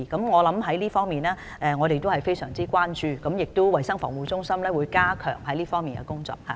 我們非常關注這問題，衞生防護中心亦會加強這方面的工作。